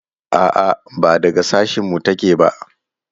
A'a ba daga sashin mu ta ke ba